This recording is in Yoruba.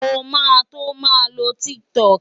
Mo máa tó máa lo TikTok.